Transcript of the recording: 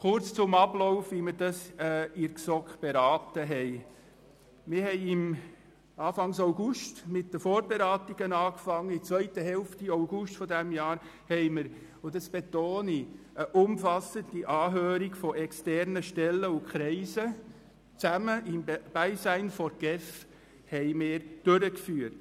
Kurz zum Ablauf der Beratungen in der GSoK: Anfang August 2017 begannen wir mit den Vorberatungen, und in der zweiten Hälfte August 2017 führten wir – und das betone ich – eine umfassende Anhörung externer Stellen und Kreise im Beisein der GEF durch.